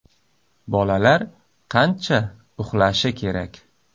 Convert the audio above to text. Bolalar qancha uxlashi kerak?